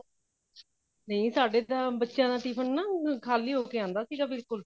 ਨਹੀਂ ਸਾਡੇ ਤਾਂ ਬੱਚਿਆ ਦਾ tiffin ਨਾ ਖਾਲੀ ਹੋ ਕੇ ਆਂਦਾ ਸੀ ਬਿਲਕੁੱਲ